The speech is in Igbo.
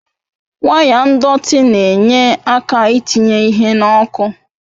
Waya ndọtị na-enye aka I tinye ihe n'oku